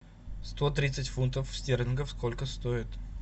сто тридцать фунтов стерлингов сколько стоит